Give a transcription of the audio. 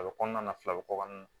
A bɛ kɔnɔna na fila bɛ kɔkɔ n